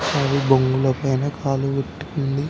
అది బొంగులో పైన కాలు పెట్టిఉంది.